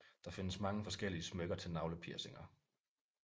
Der findes mange forskellige smykker til navlepiercinger